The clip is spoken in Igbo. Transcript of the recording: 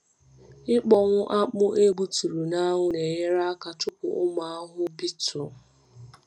Ịkpọnwụ akpụ egbuturu n’anwụ na-enyere aka chụpụ ụmụ ahụhụ beetle.